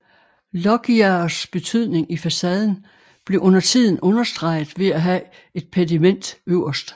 Loggiaers betydning i facaden blev undertiden understreget ved at have et pediment øverst